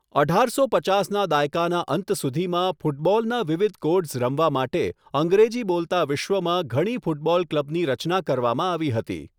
અઢારસો પચાસના દાયકાના અંત સુધીમાં, ફૂટબોલના વિવિધ કોડ્સ રમવા માટે, અંગ્રેજી બોલતા વિશ્વમાં ઘણી ફૂટબોલ ક્લબની રચના કરવામાં આવી હતી.